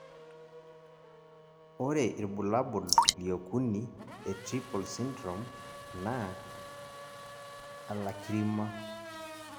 ore irbulabol liokuni Atriple syndrome naa alacrima